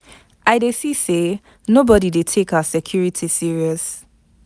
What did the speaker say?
I dey see say nobody dey take our security serious.